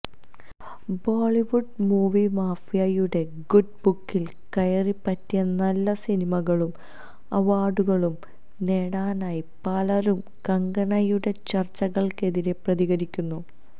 Bollywood movie മാഫിയയുടെ good ബുക്കില് കയറിപ്പറ്റി നല്ല സിനിമകളും അവാര്ഡുകളും നേടാനായി പലരും കങ്കണയുടെ ചര്ച്ചകള്ക്കെതിരെ പ്രതികരിക്കുന്നു